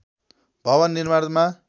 भवन निर्माणमा